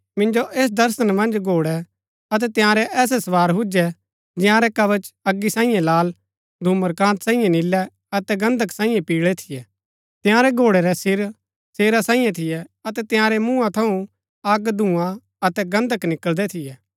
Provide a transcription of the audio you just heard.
मिंजो ऐस दर्शना मन्ज घोड़ै अतै तंयारै ऐसै सवार हुजै जंयारै कवच अगी सांईये लाल धूम्रकान्त सांईये नीलै अतै गन्धक सांईये पिळै थियै तंयारै घोड़ै रै सिर शेरा सांईये थियै अतै तंयारै मूँहा थऊँ अग धूंआ अतै गन्धक निकळदै थियै